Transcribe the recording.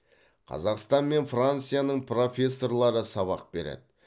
қазақстан мен францияның профессорлары сабақ береді